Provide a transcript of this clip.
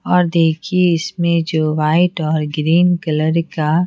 और देखिए इसमें जो वाइट और ग्रीन कलर का--